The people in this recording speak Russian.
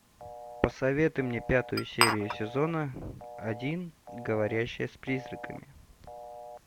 посоветуй мне пятую серию сезона один говорящая с призраками